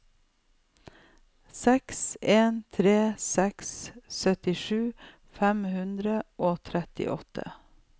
seks en tre seks syttisju fem hundre og trettiåtte